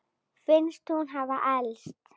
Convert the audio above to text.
Finnst hún hafa elst.